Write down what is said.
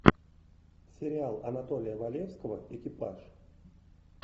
сериал анатолия валевского экипаж